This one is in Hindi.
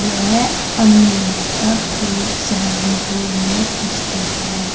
यह अम्बेहता पीर सहारनपुर में स्थित है।